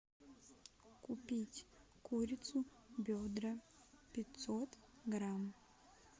купить курицу бедра пятьсот грамм